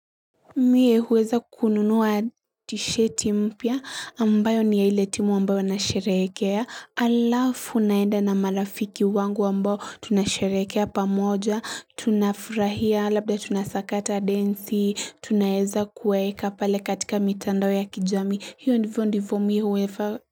Mie huweza kukununua tisheti mpya ambayo niya ile timu ambayo nasherekea alafu naenda na marafiki wangu ambao tunasherekea pamoja tunafurahia labda tunasakata densi tunayeza kuwaeka pale katika mitandao ya kijamii hiyo ndivyo ndivyo mi huwevaa.